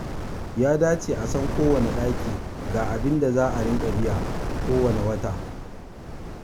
Ya dace a san kowanne ɗaki ga abinda za dinga biya kowanne wata.